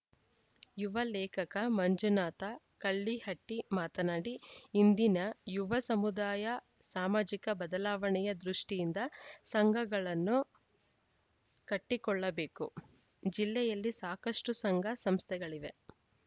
ಯುವ ಲೇಖಕ ಮಂಜುನಾಥ ಕಳ್ಳಿಹಟ್ಟಿಮಾತನಾಡಿ ಇಂದಿನ ಯುವ ಸಮುದಾಯ ಸಾಮಾಜಿಕ ಬದಲಾವಣೆಯ ದೃಷ್ಟಿಯಿಂದ ಸಂಘಗಳನ್ನು ಕಟ್ಟಿಕೊಳ್ಳಬೇಕು ಜಿಲ್ಲೆಯಲ್ಲಿ ಸಾಕಷ್ಟುಸಂಘ ಸಂಸ್ಥೆಗಳಿವೆ